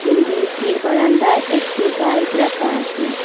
বিল্ডিংটির বারান্দায় একটি বাইক রাখা আচে।